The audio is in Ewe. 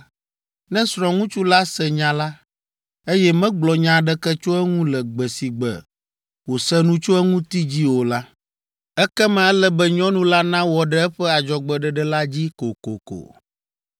ne srɔ̃ŋutsu la se nya la, eye megblɔ nya aɖeke tso eŋu le gbe si gbe wòse nu tso eŋuti dzi o la, ekema ele be nyɔnu la nawɔ ɖe eƒe adzɔgbeɖeɖe la dzi kokoko.